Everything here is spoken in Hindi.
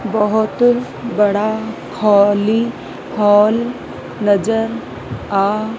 बहोत बड़ा हॉली हॉल नजर आ--